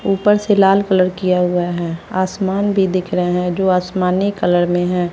ऊपर से लाल कलर किया हुआ है आसमान भी दिख रहे हैं जो आसमानी कलर में है।